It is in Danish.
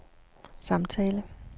samtale